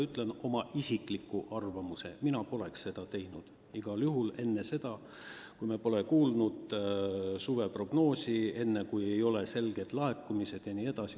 Ütlen oma isikliku arvamuse: mina poleks seda teinud, igal juhul mitte enne seda, kui me pole kuulnud suveprognoosi täitumist, enne kui me ei tea konkreetseid laekumisi.